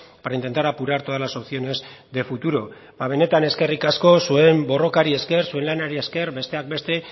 para intentar apurar todas las opciones de futuro benetan eskerrik asko zuen borrokari esker zuen lanari esker besteak beste